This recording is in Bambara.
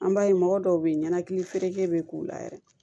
An b'a ye mɔgɔ dɔw bɛ yen ɲɛnakili feereli bɛ k'u la yɛrɛ